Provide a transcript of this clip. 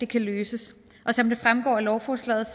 kan løses og som det fremgår af lovforslaget